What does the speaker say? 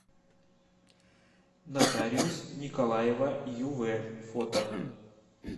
нотариус николаева юв фото